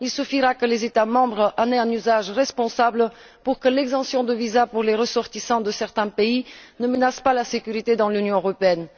Il suffira que les États membres en fassent un usage responsable pour que l'exemption de visa pour les ressortissants de certains pays ne menace pas la sécurité dans l'Union européenne.